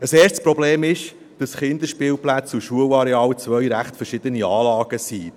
Ein erstes Problem ist, dass Kinderspielplätze und Schulareale zwei recht verschiedene Anlagen sind.